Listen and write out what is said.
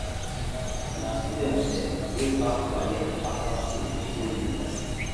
na student dem wey pass waec after skool dey go university